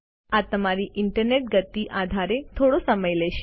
આ તમારી ઈન્ટરનેટ ગતિને આધારે થોડો સમય લેશે